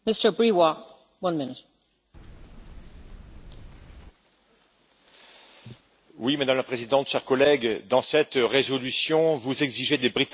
Madame la Présidente, chers collègues, dans cette résolution, vous exigez des Britanniques le respect de la libre circulation des individus et le respect des décisions de la Cour de justice européenne.